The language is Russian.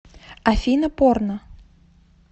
афина порно